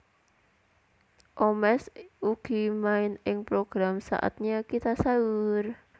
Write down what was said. Omesh ugi main ing program Saatnya Kita Sahur